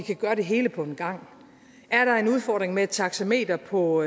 gøre det hele på en gang er der en udfordring med taxameter på